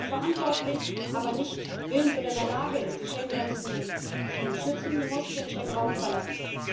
Wer verantwortlich, aber nicht willens oder in der Lage ist, die Schengengrenzen zu schützen, muss den Schengen Raum verlassen.